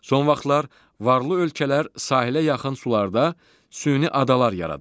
Son vaxtlar varlı ölkələr sahilə yaxın sularda süni adalar yaradır.